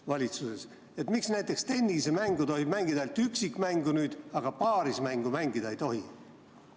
Miks tohib näiteks tennist mängida nüüd ainult üksikmänguna, aga paarismängu mängida ei tohi?